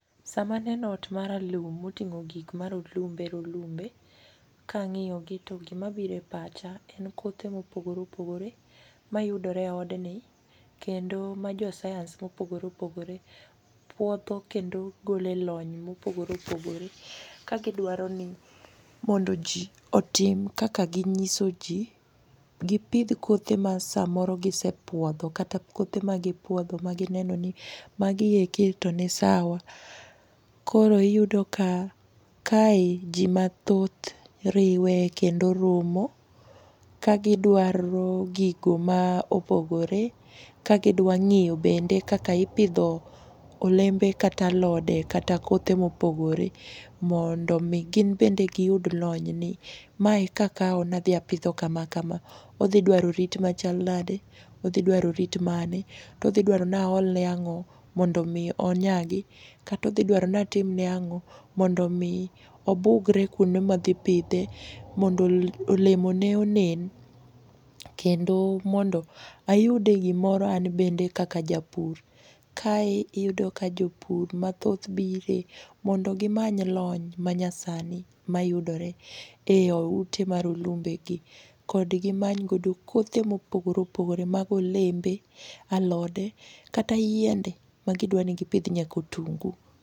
Samaneno ot maralum moting'o gik marolumbe rolumbe kang'iyogi to gimabiro e pacha en kothe mopogore opogore mayudore e odni kendo majoscience mopogore opogore puodho kendo golo e lony mopogore opogore kagidwaro ni mondo ji otim kaka ginyiso ji. Gipidh kothe masamoro gisepuodho kata kothe magipuodho magineno ni maginenoni magieki to ni sawa koro iyudo ka kae ji mathoth riwe kendo romo kagidwaro gigo ma opogore ka gidwang'iyo bende kaka ipidho olembe kata alode kata kothe mopogore mondo omi ginbende giyud lonyni. Mae kakawo nadhi apidho kama kama odhidwaro rit machal nadi, odhidwaro rit mane todhidwaro naolne ang'o mondo omi onyagi kata odhidwaro natimne ang'o mondo omi obugre kuonde madhipidhe mondo olemone onen kendo mondo ayude gimoro anbende kaka japur. Kae iyudo ka jopur mathoth bire mondo gimany lony manyasani mayudore e ute marolumbegi kod gimanygodo kothe mopogore opogore mag olembe, alode kata yiende magidwani gipidhi nyakotungu.